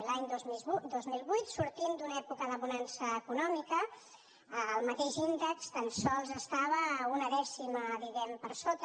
l’any dos mil vuit sortint d’una època de bonança econòmica el mateix índex tan sols estava a una dècima diguem ne per sota